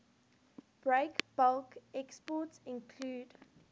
breakbulk exports include